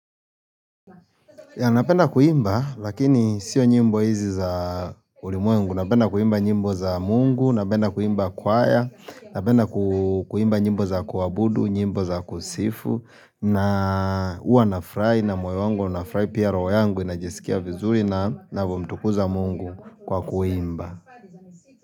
Ya napenda kuimba lakini sio njimbo hizi za ulimwengu, napenda kuimba njimbo za mungu, napenda kuimba kwaya, napenda kuimba njimbo za kuabudu, njimbo za kusifu, na uwa nafurahi na moyo wangu unafurahi pia roho yangu inajisikia vizuri na mtuku za mungu kwa kuimba.